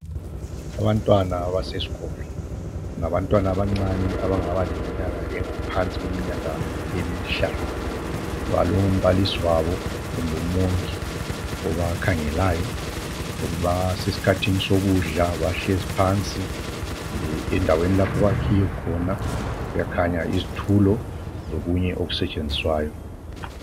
abantwana basesikolo ngabantwana abancana abangaba leminyaka engaphansi kweminyaka emihlanu balombalisi wabo kumbe umongi obakhangelayo basesikhathini sokudla bahlezi phansi endawdeni lapho okwakhiwe khona kuyakhanya izitulo lokunye okusetshenziswayo